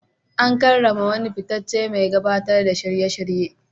An karrama wani fitaccen mai gabatar da shirye-shirye.